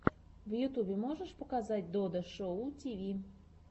в ютьюбе можешь показать додо шоу тиви